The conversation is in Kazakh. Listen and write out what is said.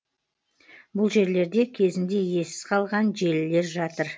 бұл жерлерде кезінде иесіз қалған желілер жатыр